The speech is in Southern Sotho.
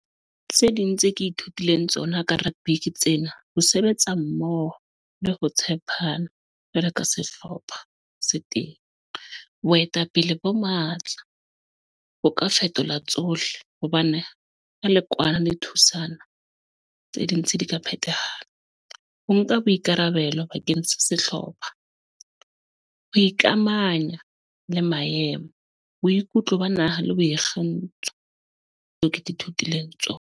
Tse ding tse ke ithutileng tsona ka rugby tsena, ho sebetsa mmoho, le ho tshepana jwalo ka sehlopha se teng. Boetapele bo matla, ho ka fetola tsohle. Hobane ka le kwana le thusana tse dintsi di ka phetahala. Ho nka boikarabelo bakeng sa sehlopha. Ho ikamanya le maemo, boikutlo ba naha le boikgantsho. Tseo ke di thutileng tsona.